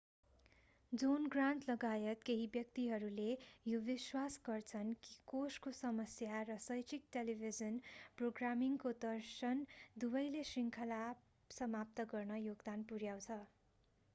John Grant लगायत केही व्यक्तिहरूले यो विश्वास गर्छन् कि कोषको समस्या र शैक्षिक टेलिभिजन प्रोग्रामिङको दर्शन दुवैले श्रृङ्खला समाप्त गर्न योगदान पुर्‍याए।